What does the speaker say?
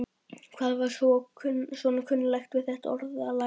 Hvað var svona kunnuglegt við þetta orðalag?